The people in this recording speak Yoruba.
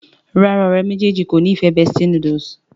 ràrá ọ̀rẹ́ méjèèjì kọ ní ìfẹ bestie noodle